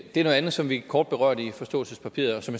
er noget andet som vi kort berørte i forståelsespapiret og som